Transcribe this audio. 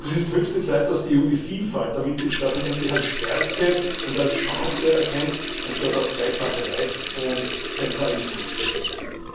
Es ist höchste Zeit, dass die EU die Vielfalt der Mitgliedstaaten endlich als Stärke und als Chance erkennt, anstatt auf Gleichmacherei und Zentralismus zu setzen.